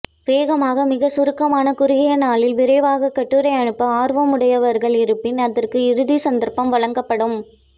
வேகமாக மிகச் சுருக்கமான குறுகிய நாளில் விரைவாக கட்டுரை அனுப்ப ஆர்வம் உடையவர்கள் இருப்பின் அதற்கு இறுதி சந்தர்ப்பம் வழங்கப்படும்